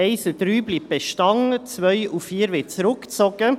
Die Ziffern 1 und 3 bleiben bestehen, 2 und 4 werden zurückgezogen.